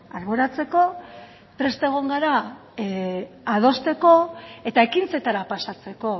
alboratzeko prest egon gara adosteko eta ekintzetara pasatzeko